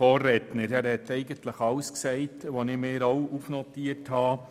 er hat eigentlich alles gesagt, was ich mir auch notiert habe.